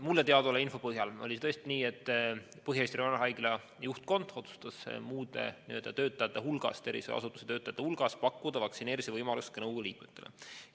Mulle teadaoleva info põhjal oli tõesti nii, et Põhja-Eesti Regionaalhaigla juhtkond otsustas muude tervishoiuasutuse töötajate hulgas pakkuda vaktsineerimise võimalust ka nõukogu liikmetele.